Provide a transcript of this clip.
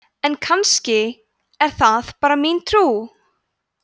en kannski er það bara mín trú!